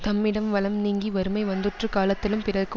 தம்மிடம் வளம் நீங்கி வறுமை வந்துற்ற காலத்திலும் பிறர்க்கு